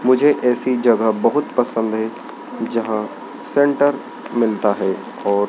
मुझे ऐसी जगह बहुत पसंद है जहां सेंटर मिलता है और--